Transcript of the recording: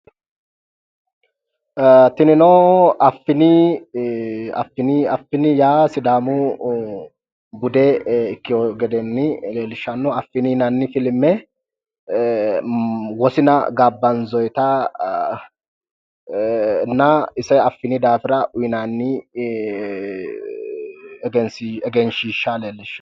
Ee tinino affini affini affini yaa sidaamu bude ikkiwo gede leellishshanno affini yinayi filme wosina gaabbanzoyitanna ise affini daafira uyinanni egenshiishsha leellishshanno.